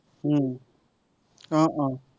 উম আহ আহ